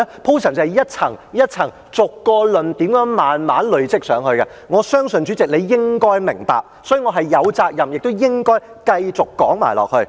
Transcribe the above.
便是一層、一層、逐個論點慢慢地累積上去，我相信主席你應該明白，所以，我是有責任亦應該繼續說下去。